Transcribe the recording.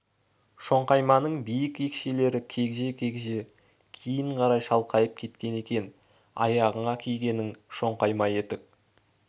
шоңқайманың биік екшелері кегжие-кегжие кейін қарай шалқайып кеткен екен аяғыңа кигенің шоңқайма етік